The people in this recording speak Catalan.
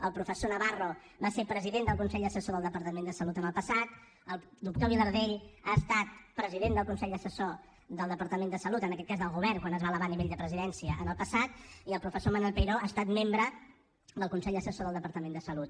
el professor navarro va ser president del consell assessor del departament de salut en el passat el doctor vilardell ha estat president del consell assessor del departament de salut en aquest cas del govern quan es va elevar a nivell de la presidència en el passat i el professor manuel peiró ha estat membre del consell assessor del departament de salut